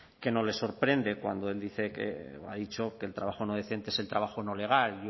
que no le sorprende cuando él dice que ha dicho que el trabajo no decente es el trabajo no legal